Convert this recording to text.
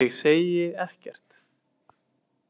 Ég segi ekkert.